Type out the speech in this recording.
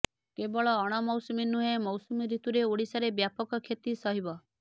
କେବଳ ଅଣମୌସୁମୀ ନୁହେଁ ମୌସୁମୀ ଋତୁରେ ଓଡିଶାରେ ବ୍ୟାପକ କ୍ଷତି ସହିବ